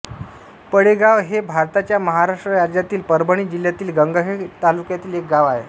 पडेगाव हे भारताच्या महाराष्ट्र राज्यातील परभणी जिल्ह्यातील गंगाखेड तालुक्यातील एक गाव आहे